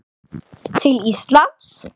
til Íslands?